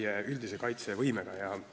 Eelnõu 593 esimene lugemine on lõppenud.